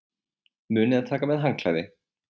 Munið að taka með handklæði!